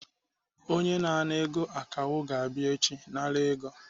Onye na-ana ego akawo ga-abịa echi nara ego.